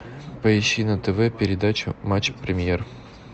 поищи на тв передачу матч премьер